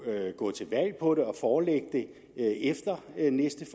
gå til valg på det og forelægge det efter næste